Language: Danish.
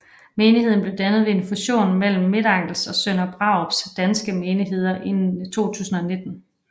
Menigheden blev dannet ved en fusion mellem Midtangels og Sønder Brarups danske menigheder i 2019